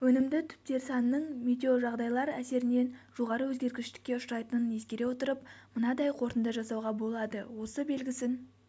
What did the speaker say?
өнімді түптер санының метеожағдайлар әсерінен жоғары өзгергіштікке ұшырайтынын ескере отырып мынадай қорытынды жасауға болады осы белгісін